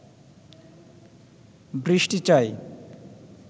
বৃষ্টি চাই